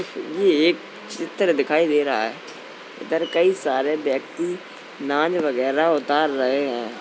ये एक चित्र दिखाई दे रहा है। इधर कई सारे व्यक्ति नाज वगैरह उतार रहे है।